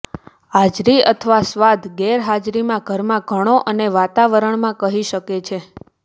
હાજરી અથવા સ્વાદ ગેરહાજરીમાં ઘરમાં ઘણો અને વાતાવરણમાં કહી શકે છે